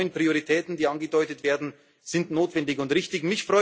Deswegen sind die neuen Prioritäten, die angedeutet werden, notwendig und richtig.